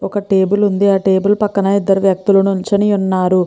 ఒక టేబిల్ ఉంది. ఆ టేబిల్ పక్కన ఇద్దరి వ్యక్తులు నించుని ఉన్నారు.